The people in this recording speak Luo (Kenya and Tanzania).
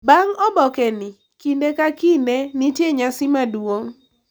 Bang’ oboke ni, kinde ka kinde nitie nyasi maduong’